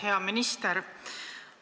Hea minister!